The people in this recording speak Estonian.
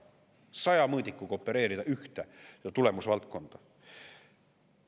Saja mõõdikuga opereerida ühte tulemusvaldkonda!?